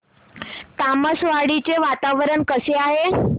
तामसवाडी चे वातावरण कसे आहे